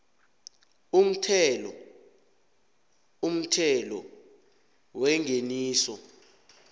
umthelo umthelo wengeniso